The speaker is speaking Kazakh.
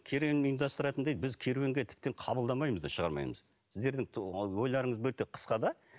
керуен ұйымдастыратындай біз керуенге тіптен қабылдамаймыз да шығармаймыз сіздердің ойларыңыз мүлде қысқа да